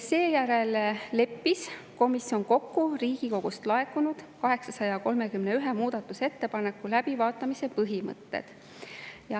Seejärel leppis komisjon kokku Riigikogust laekunud 831 muudatusettepaneku läbivaatamise põhimõtted.